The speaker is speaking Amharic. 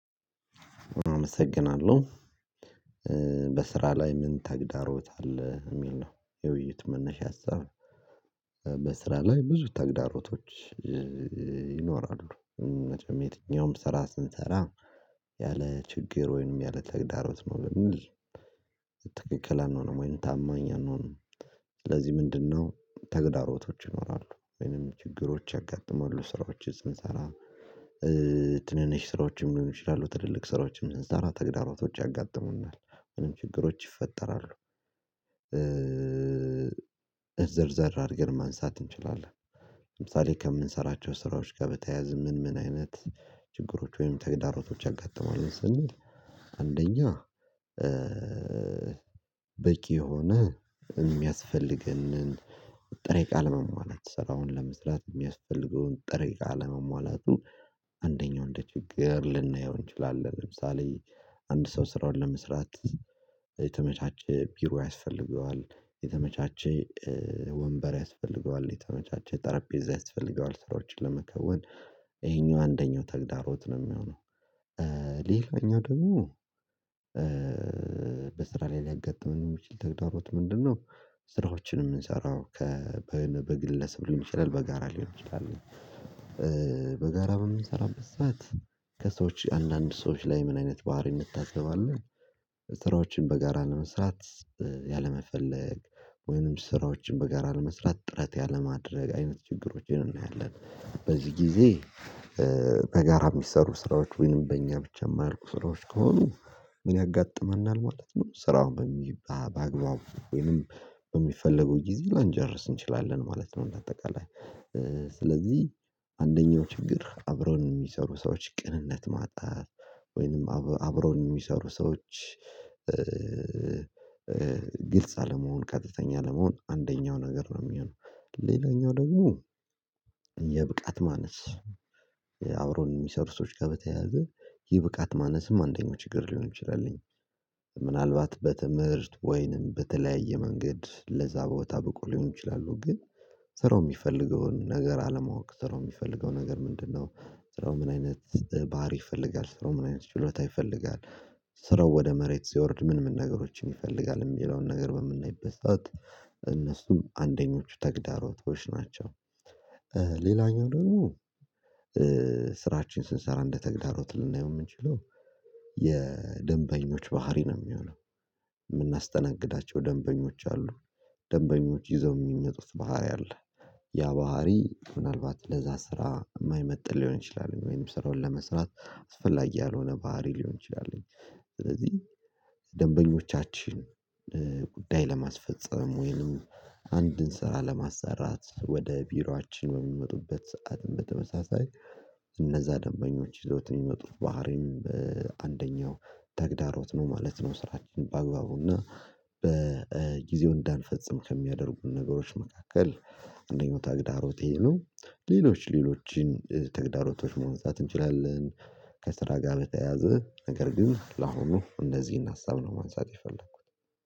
አመሰግናለሁ በስራ ላይ ምን ተግዳሮት አለ የሚል ነው የውይይት መነሻ አሰብ? በስራ ላይ ብዙ ተግዳሮቶች ይኖራሉ። ነገር የትኛውም ስራ ስንሰራ ያለ ችግር ወይንም ያለ ተግዳሮት ነው ብለን ትክክል አንሆንም ወይን ታማኝ አንሆንም። ስለዚህ ምንድነው ተግዳሮቶች ይኖራሉ ወይንም ችግሮች ያጋጥማሉ ስራዎችን ስንሰራ? ትንንሽ ስራዎችን ሊሆኑ ይችላሉ ትልልቅ ስራዎችን ስንሰራ ተግዳሮቶች ያጋጥሙናል ምንም ችግሮች ይፈጠራሉ ዘርዘር አድርገን ማንሳት እንችላለን። ለምሳሌ ከምንሰራቸው ስራዎች ጋር በተያያዘ ምን ምን አይነት ችግሮች ወይም ተግዳሮቶች ያጋጥማሉ ስንል? አንደኛ በቂ የሆነ የሚያስፈልገንን ጥሬ እቃ አለመሟላት ስራውን ለመስራት የሚያስፈልገውን ጥሬ እቃ አለመሟላቱ አንደኛው እንደ ችግር ልናየው እንችላለን። ለምሳሌ አንድ ሰው ስራውን ለመስራት የተመቻቸ ቢሮ ያስፈልገዋል የተመቻቸ ወንበር ያስፈልገዋል የተመቻቸ ጠረጴዛ ያስፈልገዋል ስራዎችን ለመከወን ይሄኛው አንደኛው ተግዳሮት ነው የሚሆነው። ሌላኛው ደግሞ በስራ ላይ ሊያጋጥም የሚችል ተግባሮት ምንድነው? ስራዎችንም እምንሠራው በግለሰብ ሊሆን ይችላል በጋራ ሊሆን ይችላል። በጋራ የምንሰራበት ሰዓት ከሰዎች አንዳንድ ሰዎች ላይ ምን አይነት ባህሪ የምታዘባለው? ስራዎችን በጋራ ለመስራት ያለመፈለግ ወይንም ስራዎችን በጋራ ለመስራት ጥረት ያለማድረግ አይነት ችግሮችን እናያለን በዚህ ጊዜ። በጋራ የሚሰሩ ስራዎች ወይንም በእኛ ብቻ የማያልቁ ስራዎች ከሆኑ ምን ያጋጥመናል ማለት ነው ስራውን በሚባል በአግባቡ ወይንም በሚፈልገው ጊዜ ላንጨርስ እንችላለን ማለት ነው። እንደ አጠቃላይ ስለዚህ አንደኛው ችግር አብረው የሚሰሩ ሰዎች ቅንነት ማጣት ወይንም አብረው የሚሰሩ ሰዎች ግልጽ አለመሆን ቀጥተኛ አለመሆን አንደኛው ነገር ነው የሚሆነው። ሌላኛው ደግሞ የብቃት ማነስ። የአውሮፕላን የሚሰሩ ሰዎች ከበተያዘ ይህ ብቃት ማነስም አንደኛው ችግር ሊሆን ይችላልኝ። ምናልባት በትምህርት ወይንም በተለያየ መንገድ ለዛ በወታ በቆ ሊሆን ይችላሉ ግን ስራው የሚፈልገውን ነገር አለማወቅ ራው የሚፈልገው ነገር ምንድነው? ስራው ምን አይነት ባህሪ ይፈልጋል ስራው ምን አይነት ችሎታ ይፈልጋል? ስራው ወደ መሬት ሲወርድ ምን ምን ነገሮችን ይፈልጋል የሚለውን ነገር በምናይበት እነሱም አንደኞቹ ተግዳሮቶች ናቸው። ሌላኛው ደግሞ ስራችን ስንሰራ እንደተግዳሮት ልናየው የምንችለው የደንበኞች ባህሪ ነው የሚሆነው። የምናስተናግዳቸው ደንበኞች አሉ። ደንበኞች ይዘው የሚነጡት ባህሪ አለ። ያ ባህሪ ምናልባት ለዛ ስራ የማይመጥን ሊሆን ይችላል ወይም ስራውን ለመስራት አስፈላጊ ያልሆነ ባህሪ ሊሆን ይችላል። ስለዚህ ደንበኞቻችን ጉዳይ ለማስፈፀም ወይንም አንድን ስራ ለማሰራት ወደ ቢሮአችን በሚመጡበት ሰዓት በተመሳሳይ እነዛ ደንበኞች ይዘውት የሚመጡት ባህሪም በአንደኛው ተግዳሮት ነው ማለት ነው። ስራችን በአግባቡና በጊዜው እንዳንፈጽም ከሚያደርጉን ነገሮች መካከል አንደኛው ታግዳሮቴ ነው። ሌሎች ሌሎችን ትግዳሮቶች መውጣት እንችላለን። ከስራ ጋር በተያያዘ ነገር ግን ለአሁኑ እንደዚህ አሳብ ነው ማንሳት የፈለኩት።